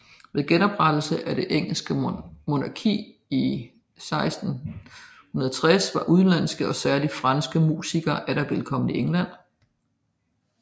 Med genoprettelsen af det engelske monarki i 1660 var udenlandske og særligt franske musikere atter velkomne i England